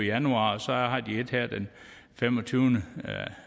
januar og så har de et her den femogtyvende